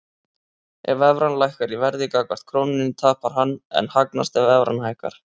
Ef evran lækkar í verði gagnvart krónunni tapar hann en hagnast ef evran hækkar.